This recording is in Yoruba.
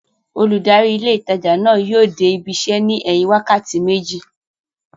Olùdarí ilé ìtajà náà yóò dé ibi isẹ́ ní ẹ̀yìn wákàtí méjì